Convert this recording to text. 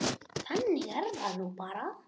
Þannig er það nú bara.